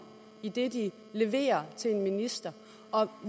i det de leverer til en minister og